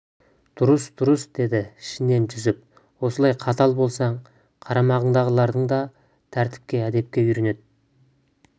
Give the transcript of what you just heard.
дұрыс дұрыс дейді ішінен жүсіп осылай қатал болсаң қарамағыңдағыларың да тәртіпке әдепке үйренеді